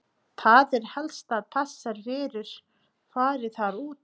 Það er helst að þessar verur fari þar út.